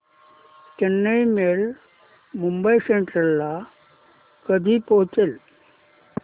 Chennai mail Mumbai central ला कधी पोहचेल